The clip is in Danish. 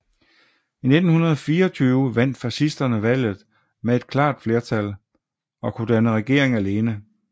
I 1924 vandt fascisterne valget med et klart flertal og kunne danne regering alene